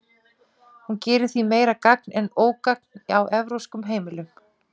hún gerir því meira gagn en ógagn á evrópskum heimilum